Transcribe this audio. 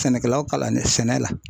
Sɛnɛkɛlaw kalannen sɛnɛ la.